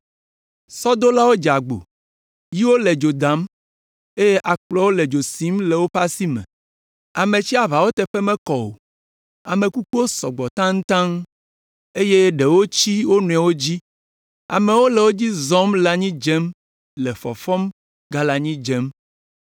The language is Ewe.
Sɔdolawo dze agbo, yiwo le dzo dam, eye akplɔwo le dzo sim le woƒe asi me! Ame tsiaʋawo teƒe mekɔ o, ame kukuwo sɔ gbɔ taŋtaŋtaŋ, eye ɖewo tsi wo nɔewo dzi. Amewo le wo dzi zɔm le anyi dzem, le fɔfɔm; gale anyi dzem.